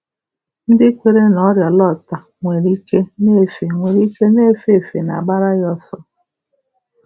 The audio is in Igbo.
Ndị kweere na ọrịa Lota nwere ike na-efe nwere ike na-efe efe na-agbara ya ọsọ.